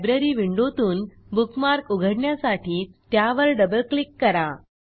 library विंडोतून bookmark उघडण्यासाठी त्यावर डबल क्लिक करा